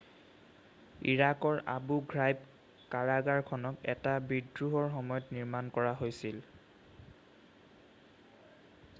ইৰাকৰ Abu Ghraib কাৰাগাৰখনক এটা বিদ্ৰোহৰ সময়ত নিৰ্মাণ কৰা হৈছিল৷